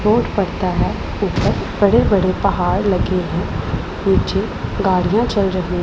road पड़ता है ऊपर बड़े बड़े पहाड़ लगे हैं नीचे गाड़ियां चल रही--